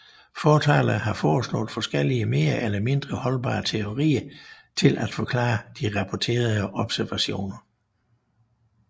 Fortalere har foreslået forskellige mere eller mindre holdbare teorier til at forklare de rapporterede observationer